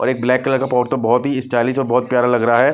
और एक black colour का पॉट तो बहुत ही स्टाइलिश और बहुत प्यारा लग रहा है।